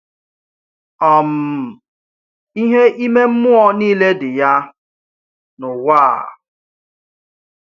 um Ihe ime mmụọ niile dị ya n’ụwa a.